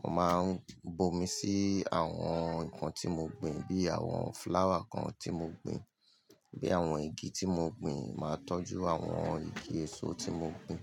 mo màá ń bomi sí àwọn nǹkan tí mo gbin bí àwọn flower kan tí mo gbin, bí àwọn igi tí mo gbin màá tọ́jú àwọn igi èso tí mo gbin.